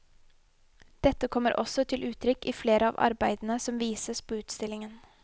Dette kommer også til uttrykk i flere av arbeidene som vises på utstillingen.